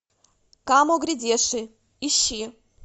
камо грядеши ищи